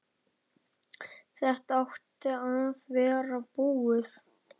Þetta átti að vera búið.